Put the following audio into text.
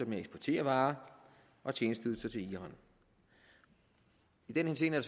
med at eksportere varer og tjenesteydelser til iran i den henseende er